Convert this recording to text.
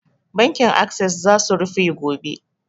Bankin assess za su rufe gobe